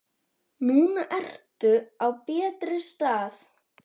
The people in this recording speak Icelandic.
Núna ertu á betri stað.